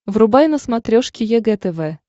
врубай на смотрешке егэ тв